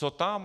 Co tam?